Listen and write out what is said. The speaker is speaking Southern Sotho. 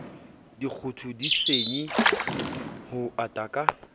dikgoto disenyi ho ata ka